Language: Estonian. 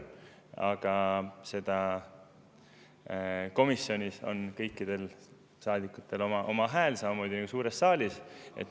Aga komisjonis on kõikidel saadikutel oma hääl, samamoodi on ju suures saalis.